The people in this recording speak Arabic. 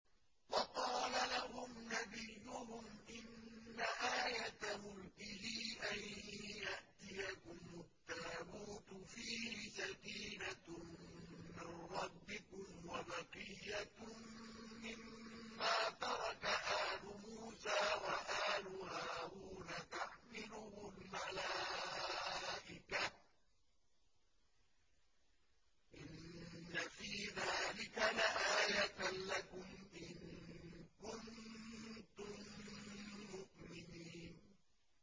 وَقَالَ لَهُمْ نَبِيُّهُمْ إِنَّ آيَةَ مُلْكِهِ أَن يَأْتِيَكُمُ التَّابُوتُ فِيهِ سَكِينَةٌ مِّن رَّبِّكُمْ وَبَقِيَّةٌ مِّمَّا تَرَكَ آلُ مُوسَىٰ وَآلُ هَارُونَ تَحْمِلُهُ الْمَلَائِكَةُ ۚ إِنَّ فِي ذَٰلِكَ لَآيَةً لَّكُمْ إِن كُنتُم مُّؤْمِنِينَ